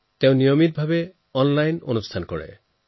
তেওঁ নিয়মীয়াকৈ অনলাইন কাৰ্যসূচীৰ আয়োজন কৰে